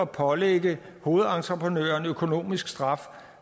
pålægge hovedentreprenøren økonomisk straf